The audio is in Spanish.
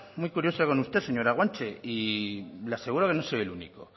muy curiosa con usted señora guanche y le aseguro que no soy el único